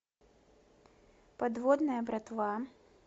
подводная братва